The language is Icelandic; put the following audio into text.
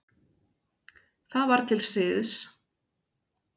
Það var til siðs.